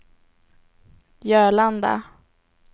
Jörlanda